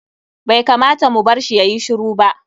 Bai kamata mu barshi yayi shiru ba.